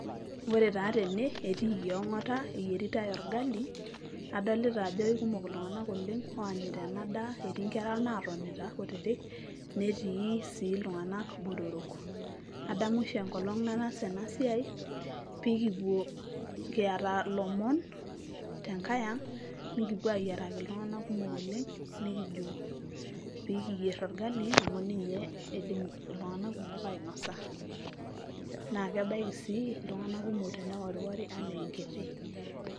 Ore taa tene etiiki ong'ata eyaritai orgali, adolita ajo kekumok iltung'anak oleng' oanyita ena daa, eti nkera naatonita kutitik, netii sii iltung'anak botorok. Adamu oshi enkolong' nataasa ena siai piikipuo kiyata ilomon tenkai ang', nekipuo ayiaraki iltung'anak kumok oleng' nekijo pii kiyer orgali amu ninye idim iltung'anak kumok ainosa naake kebaiki sii iltung'anak kumok teneworiwori enaa enkiti.